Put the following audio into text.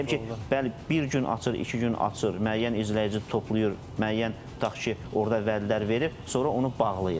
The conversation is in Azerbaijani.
Bəli, bir gün açır, iki gün açır, müəyyən izləyici toplayır, müəyyən, tutaq ki, orda vədlər verir, sonra onu bağlayır.